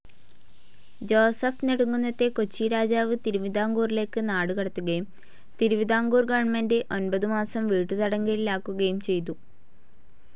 Joseph നെടുംകുന്നത്തെ കൊച്ചി രാജാവ്‌ തിരുവിതാംകൂറിലേക്ക്‌ നാടുകടത്തുകയും തിരുവിതാംകൂർ ഗവൺമെൻ്റെ് ഒൻപതു മാസം വീട്ടുതടങ്കലിലാക്കുകയും ചെയ്തു.